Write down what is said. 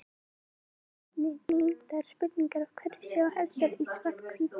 Skoðið einnig tengdar spurningar Af hverju sjá hestar í svart-hvítu?